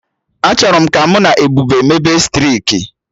Achọrọ m ka mụ na Ebube mebe striki